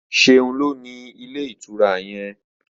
Seun ló ní Ilé-ìtura yén.